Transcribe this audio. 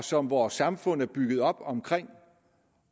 som vores samfund er bygget op omkring